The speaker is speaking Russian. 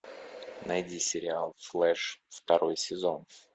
найди сериал флэш второй сезон